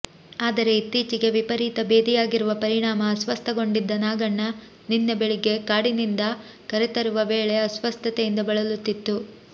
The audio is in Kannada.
ಆದರೆ ಇತ್ತೀಚೆಗೆ ವಿಪರೀತ ಬೇದಿಯಾಗಿರುವ ಪರಿಣಾಮ ಅಸ್ವಸ್ಥಗೊಂಡಿದ್ದ ನಾಗಣ್ಣ ನಿನ್ನೆ ಬೆಳಗ್ಗೆ ಕಾಡಿನಿಂದ ಕರೆತರುವ ವೇಳೆ ಅಸ್ವಸ್ಥತೆಯಿಂದ ಬಳಲುತ್ತಿತ್ತು